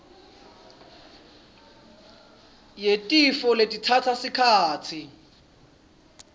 yetifo letitsatsa sikhatsi